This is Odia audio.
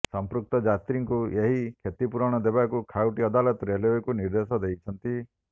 ସମ୍ପୃକ୍ତ ଯାତ୍ରୀଙ୍କୁ ଏହି କ୍ଷତିପୂରଣ ଦେବାକୁ ଖାଉଟି ଅଦାଲତ ରେଲୱେକୁ ନିର୍ଦ୍ଦେଶ ଦେଇଛନ୍ତି